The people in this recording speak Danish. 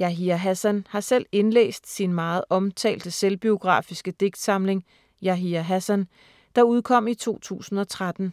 Yahya Hassan har selv indlæst sin meget omtalte selvbiografiske digtsamling ”Yahya Hassan”, der udkom i 2013.